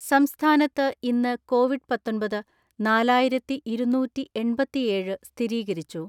സംസ്ഥാനത്ത് ഇന്ന് കോവിഡ് പാത്തൊൻപത്, നാലായിരത്തിഇരുന്നൂറ്റിഎൺപതിഏഴ് സ്ഥിരീകരിച്ചു.